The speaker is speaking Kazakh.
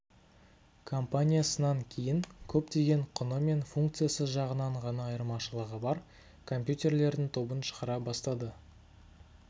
компаниясынан кейін көптеген құны мен функциясы жағынан ғана айырмашылығы бар компьютерлердің тобын шығара бастады